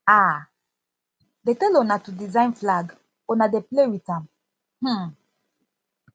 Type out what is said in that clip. um dey tell una to design flag una dey play with am um